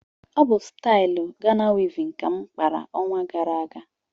Ọ bụ stailu Gana wivin ka m kpara ọnwa gara aga